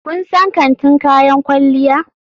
Kun san kantin kayan kwalliya?